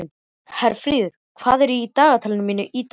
Herfríður, hvað er í dagatalinu mínu í dag?